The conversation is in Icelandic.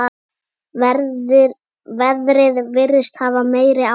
Veðrið virðist hafa meiri áhrif.